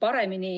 paremini.